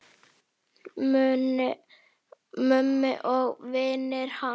Mummi og vinir hans.